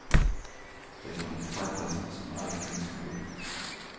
Det kan betraktas som alltings moder.